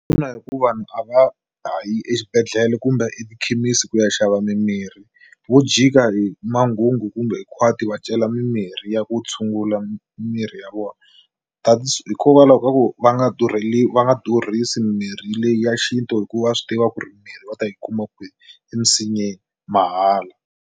Ina hi ku vanhu a va hayi exibedhlele kumbe etikhemisi ku ya xava mimirhi vo jika hi manghungu kumbe hi khwati va cela mimirhi ya ku tshungula mirhi ya vona hikokwalaho ka ku va nga va nga durhisi mimirhi leya xintu hikuva swi tiva ku ri mirhi va ta yi kuma kwihi emisinyeni mahala.